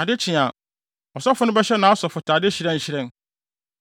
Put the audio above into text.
Ade kye a, ɔsɔfo no bɛhyɛ nʼasɔfotade hyerɛnhyerɛn